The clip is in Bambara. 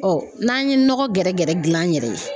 n'an ye nɔgɔ gɛrɛgɛrɛ gilan an yɛrɛ ye